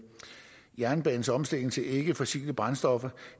jernbanens omstilling til ikkefossile brændstoffer